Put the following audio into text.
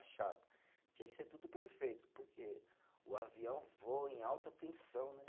Chapa, tinha que ser tudo perfeito, porque o avião voa em alta tensão, né?